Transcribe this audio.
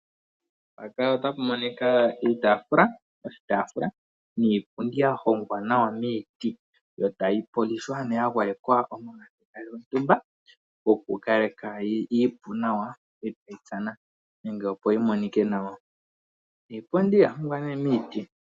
Iitaafula niipundi ya hongwa miiti, oha yi gwayekwa omagadhi opo yi kale iipu yo, ita yi tsana opo yi monikwe nawa.